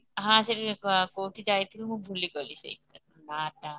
ହଁ ସେଇଠି କୋଉଠି ଯାଇଥିଲି ମୁଁ ଭୁଲିଗଲି ସେଇଟା ନାଟା